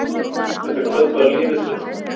Þetta kvöld var lífið fullkomið.